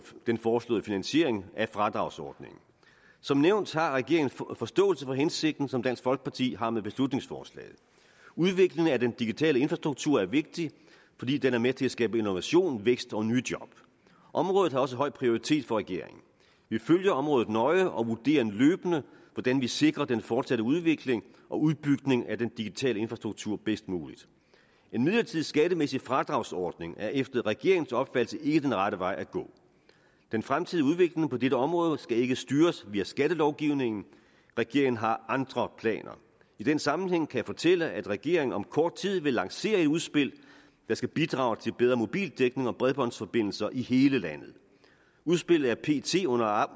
den foreslåede finansiering af fradragsordningen som nævnt har regeringen forståelse for hensigten som dansk folkeparti har med beslutningsforslaget udviklingen af den digitale infrastruktur er vigtig fordi den er med til at skabe innovation vækst og nye job området har også høj prioritet for regeringen vi følger området nøje og vurderer løbende hvordan vi sikrer den fortsatte udvikling og udbygning af den digitale infrastruktur bedst muligt en midlertidig skattemæssig fradragsordning er efter regeringens opfattelse ikke den rette vej at gå den fremtidige udvikling på dette område skal ikke styres via skattelovgivningen regeringen har andre planer i den sammenhæng kan jeg fortælle at regeringen om kort tid vil lancere et udspil der skal bidrage til bedre mobildækning og bredbåndsforbindelser i hele landet udspillet er pt under